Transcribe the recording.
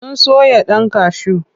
Sun soya ɗan kashu.